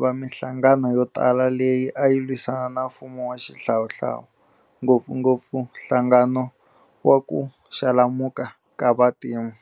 na minhlangano yo tala leyi ayi lwisana na mfumo wa xihlawuhlawu, ngopfungopfu nhlangano wa ku Xalamuka ka vantima.